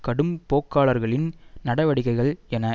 கடும் போக்காளர்களின் நடவடிக்கைகள் என